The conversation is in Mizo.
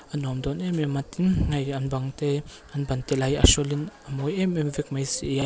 a nuam dawn em em a tin hei an bang te an ban te la hi a hrawlin a mawi em em vek mai si a.